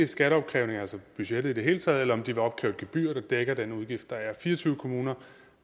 skatteopkrævning altså budgettet i det hele taget eller om de vil opkræve et gebyr der dækker den udgift der er fire og tyve kommuner